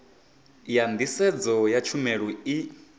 ya nḓisedzo ya tshumelo i